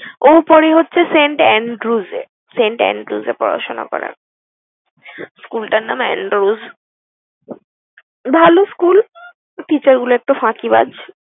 ও পড়ে হচ্ছে Saint and Groos এ। Saint and Groos এ পড়াশোনা করে। School টার নাম Andose । ভালো school, teacher গুলো একটু ফাঁকিবাজ।